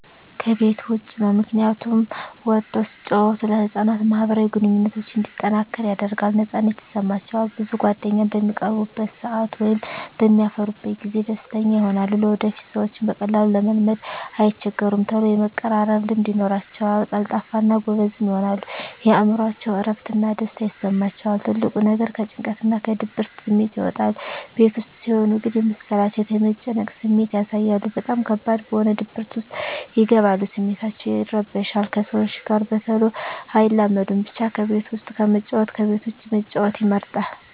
ከቤት ዉጭ ነዉ ምክንያቱም ወጠዉ ሲጫወቱ ለህፃናት ማህበራዊ ግንኙነቶች እንዲጠናከር ያደርጋል ነፃነት ይሰማቸዋል ብዙ ጓደኛም በሚቀርቡበት ሰአት ወይም በሚያፈሩበት ጊዜ ደስተኛ ይሆናሉ ለወደፊቱ ሰዎችን በቀላሉ ለመልመድ አይቸገሩም ተሎ የመቀራረብ ልምድ ይኖራቸዉል ቀልጣፋ እና ጎበዝም ይሆናሉ የእምሮአቸዉ እረፍት እና ደስታ ይሰማቸዋል ትልቁ ነገር ከጭንቀትና ከድብርት ስሜት ይወጣሉ ቤት ዉስጥ ሲሆን ግን የመሰላቸት የመጨነቅ ስሜት ያሳያሉ በጣም ከባድ በሆነ ድብርት ዉስጥ ይገባሉ ስሜታቸዉ ይረበሻል ከሰዎች ጋር በተሎ አይላመዱም ብቻ ከቤት ዉስጥ ከመጫወት ከቤት ዉጭ መጫወት ይመረጣል